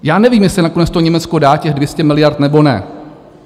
Já nevím, jestli nakonec to Německo dá těch 200 miliard, nebo ne.